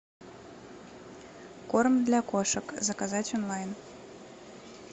корм для кошек заказать онлайн